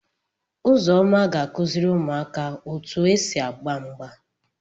Uzoma ga akuziri umuaka otu esi agba mgba.